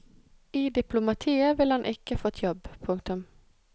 I diplomatiet ville han ikke fått jobb. punktum